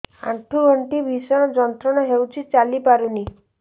ଆଣ୍ଠୁ ଗଣ୍ଠି ଭିଷଣ ଯନ୍ତ୍ରଣା ହଉଛି ଚାଲି ପାରୁନି